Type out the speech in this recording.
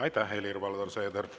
Aitäh, Helir-Valdor Seeder!